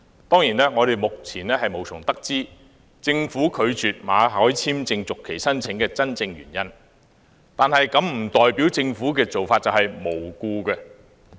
當然，我們目前無從得知，政府拒絕馬凱的工作簽證續期申請的真正原因，但這並不代表政府的做法是"無故"。